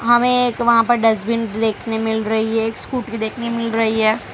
हमे एक वहां पर डस्टबिन देखने मिल रही है एक स्कूटी देखने मिल रही है।